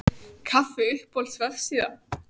kaffi Uppáhalds vefsíða?